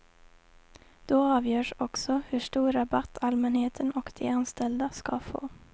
Då avgörs också hur stor rabatt allmänheten och de anställda ska få.